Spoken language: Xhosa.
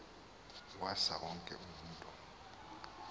saa wonke umntu